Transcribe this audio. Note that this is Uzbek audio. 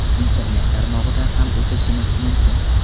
Internet tarmog‘idan ham o‘chirishimiz mumkin.